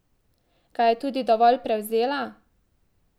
Ga je tudi dovolj prevzela?